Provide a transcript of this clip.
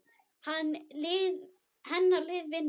Hennar lið vinnur.